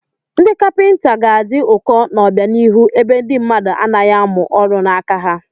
Ndị kapịnta ga-adị ụkọ n'obianihu ebe ndị mmadụ anaghị amụ ọrụ n'aka ha.